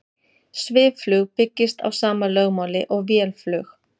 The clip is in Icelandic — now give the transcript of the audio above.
Svifflug byggist á sama lögmáli og vélflug.